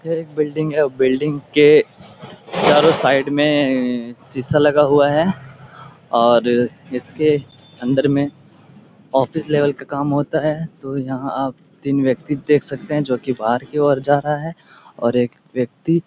यह एक बिल्डिंग है। बिल्डिंग के चारो साईड में शीशा लगा हुआ है और इसके अन्दर में ऑफिस लेवल पे काम होता है तो तीन व्यक्ति देख सकते है जो की बाहर की ओर जा रहा हैं और एक व्यक्ति --